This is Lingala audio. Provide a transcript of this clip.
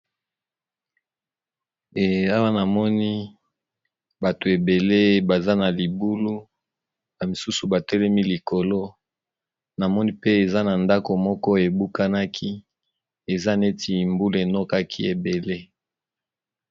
Awa namoni bato ebele baza na libulu ba misusu batelemi likolo namoni pe eza na ndako moko ebukanaki eza neti mbulu enokaki ebele.